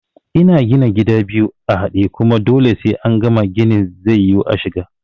Ina gina gida biyu a haɗe, kuma dole sai angama ginin zai yiwu ashiga